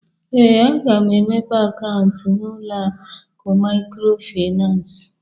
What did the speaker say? Ee, aga m emepe akaụntụ n'ụlọ akụ Maịkrofịnansị.